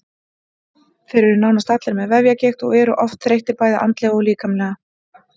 Þeir eru nánast allir með vefjagigt og eru oft þreyttir bæði andlega og líkamlega.